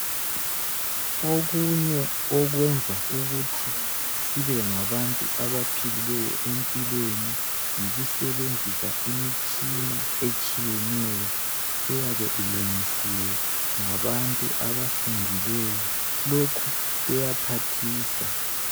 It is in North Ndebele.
Okunye okwenza ukuthi sibe ngabantu abaphilileyo empilweni, yikusebenzisa imitshina etshiyeneyo eyabe ilungisiwe ngabantu abafundileyo, lokhu kuyaphathisa.